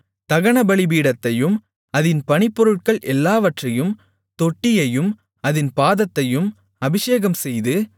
தகன பலிபீடத்தையும் அதின் பணிப்பொருட்கள் எல்லாவற்றையும் தொட்டியையும் அதின் பாதத்தையும் அபிஷேகம்செய்து